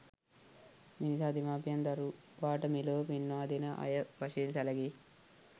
මෙනිසා දෙමාපියන් දරුවාට මෙලොව පෙන්වාදෙන අය වශයෙන් සැලකෙයි.